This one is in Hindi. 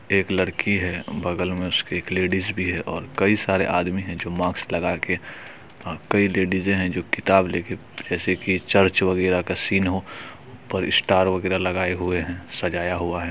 एक लड़की है बगल मे उसके एक लेडिस भी है और कई सारे आदमी है जो मास्क लगाके कई लेडीजे हैं जो किताबे लेके जैसे की चर्च वगेरह का सीन हो और स्टार वगेरा लगाए हुए है सजाय हुआ है।